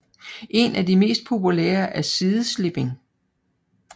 En af de mest populære er sideslipping